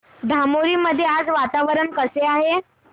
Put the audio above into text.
धामोरी मध्ये आज वातावरण कसे आहे